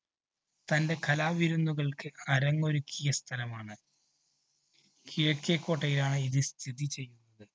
തൻറെ കലാവിരുന്നുകള്‍ക്ക് അരങ്ങൊരുക്കിയ സ്ഥലമാണ്. കിഴക്കേകോട്ടയിലാണ് ഇത് സ്ഥിതിചെയ്യുന്നത്.